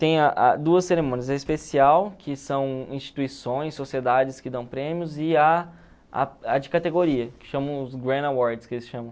Tem a a duas cerimônias, a especial, que são instituições, sociedades que dão prêmios, e a a a de categoria, que chamam os Grand Awards, que eles chamam.